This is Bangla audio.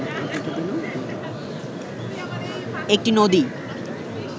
একটি নদী